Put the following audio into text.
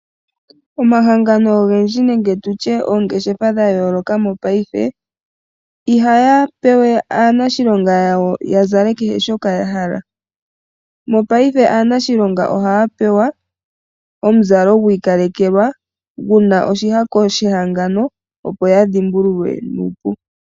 Omahangano ogendji nenge tutye oongeshefa dha yooloka mopayife ihayape we aanashilonga yawo ya Zale kehe shoka ya hala . Mopayife aanashilonga ohaya pewa omuzalo gwi ikalekelwa guna oshihako shehangano opo ya dhimbululwe nuupu.